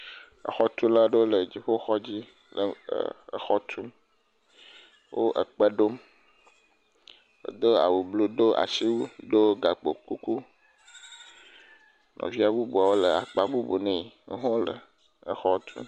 Xɔtula aɖewo le dziƒo xɔ dzi le e xɔ tum, wo kpe ɖom, wodo awu blu do asiwui do gakpo kuku. Nɔvia bubuwo le akpa bubu nɛ wo hã wole xɔ tum.